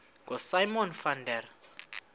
ngosimon van der